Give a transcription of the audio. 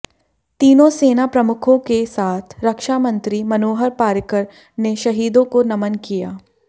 तीनों सेना प्रमुखों के साथ रक्षा मंत्री मनोहर पार्रिकर ने शहीदों को नमन किया